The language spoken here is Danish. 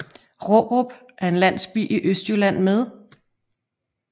Rårup er en landsby i Østjylland med